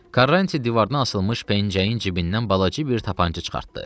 Karranti divardan asılmış pəncəyin cibindən balaca bir tapança çıxartdı.